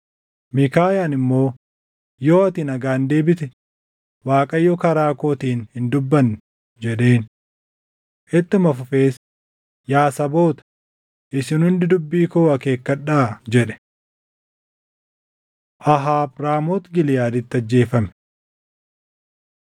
Miikaayaan immoo, “Yoo ati nagaan deebite, Waaqayyo karaa kootiin hin dubbanne” jedheen. Ittuma fufees, “Yaa saboota, isin hundi dubbii koo akeekkadhaa!” jedhe. Ahaab Raamooti Giliʼaaditti Ajjeefame 18:28‑34 kwf – 1Mt 22:29‑36